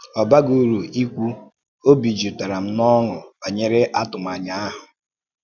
Ọ bàghì ùrù ìkwù, óbì jùpùtàrà m n’ọ́ṅụ̀ bànyèrè àtùmànyà ahụ̀.